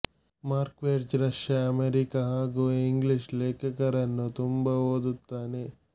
Marquez Russia America ಹಾಗು English ಲೇಖಕರನ್ನು ತುಂಬಾ ಓದುತ್ತಾನೆ